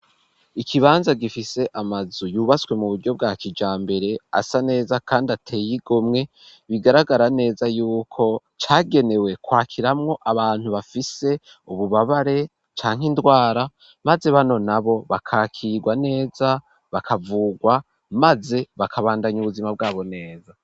Ikibanza gifise amazu yubatswe mu buryo bwa kijambere asa neza kandi ateye igomwe bigaragara neza yuko cagenewe kwakiramwo abantu bafise ububabare canke indwara maze bano nabo bakakirwa neza bakavugwa maze bakabandanya ubuzima bwabo neza.